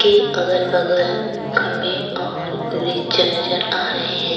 के अगल बगल खम्बे और वृक्ष नज़र आ रहे हैं।